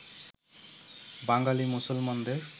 বাঙালী মুসলমানদের